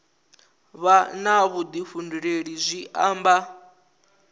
vha na vhuḓifhinduleli zwi amba